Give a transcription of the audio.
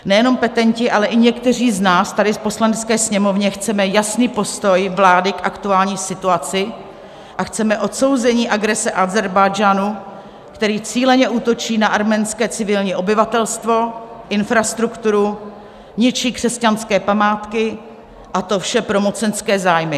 Nejenom petenti, ale i někteří z nás tady v Poslanecké sněmovně chceme jasný postoj vlády k aktuální situaci a chceme odsouzení agrese Ázerbájdžánu, který cíleně útočí na arménské civilní obyvatelstvo, infrastrukturu, ničí křesťanské památky, a to vše pro mocenské zájmy.